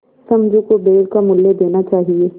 समझू को बैल का मूल्य देना चाहिए